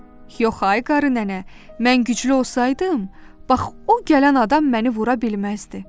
Yox ay qarı nənə, mən güclü olsaydım, bax o gələn adam məni vura bilməzdi.